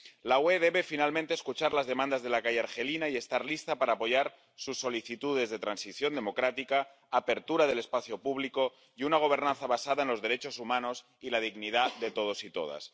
La UE debe finalmente escuchar las demandas de la calle argelina y estar lista para apoyar sus solicitudes de transición democrática, apertura del espacio público y una gobernanza basada en los derechos humanos y la dignidad de todos y todas.